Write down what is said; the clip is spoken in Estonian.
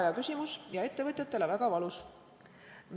Väga hea ja ettevõtjatele väga valus küsimus.